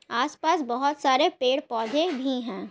आस-पास बहुत सारे पेड़-पौधे भी है ।